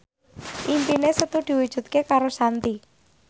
impine Setu diwujudke karo Shanti